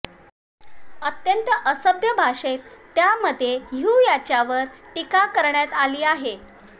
अत्यंत असभ्य भाषेत त्यामध्ये ह्यू यांच्यावर टीका करण्यात आली आहे